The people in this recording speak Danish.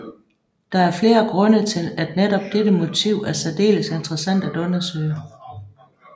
Der er flere grunde til at netop dette motiv er særdeles interessant at undersøge